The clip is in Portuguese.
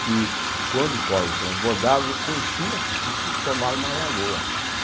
que, quando o córrego transbordava, enchia e formava uma lagoa.